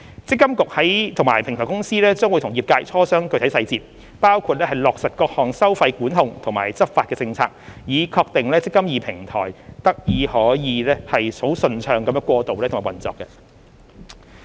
積金局及平台公司將與業界磋商具體細節，包括落實各項收費管控及執法政策，以確定"積金易"平台得以順暢地過渡和運作。